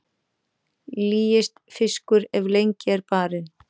Lýist fiskur ef lengi er barinn.